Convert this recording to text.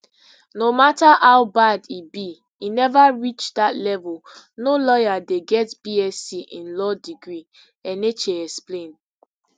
no mata how bad e be e neva reach dat level no lawyer dey get bsc in law degree enenche explain